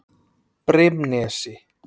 Brimnesi